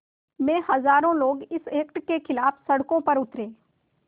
में हज़ारों लोग इस एक्ट के ख़िलाफ़ सड़कों पर उतरे